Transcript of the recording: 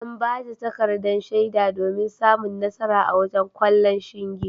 An bata takardar shaida domin samun nasara a wasan ƙwallon shinge.